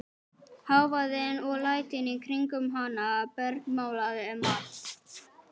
Hávaðinn og lætin í kringum hana bergmálaði um allt.